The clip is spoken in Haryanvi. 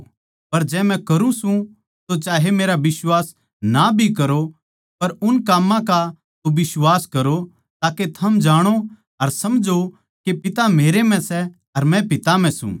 पर जै मै करूँ सूं तो चाहे मेरा बिश्वास ना भी करो पर उन काम्मां का तो बिश्वास करो ताके थम जाणो अर समझो के पिता मेरै म्ह सै अर मै पिता म्ह सूं